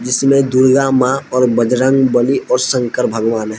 जिसमे दुर्गा मां और बजरंगबली और शंकर भगवान ह--